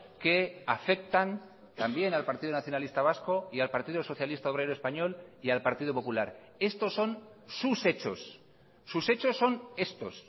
que afectan también al partido nacionalista vasco y al partido socialista obrero español y al partido popular estos son sus hechos sus hechos son estos